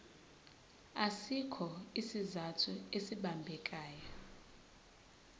asikho isizathu esibambekayo